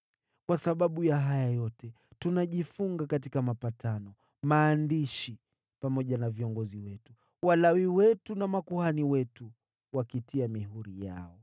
“Kwa sababu ya haya yote, tunajifunga katika mapatano, na kuyaandika, nao viongozi wetu, Walawi wetu na makuhani wetu wanatia mihuri yao.”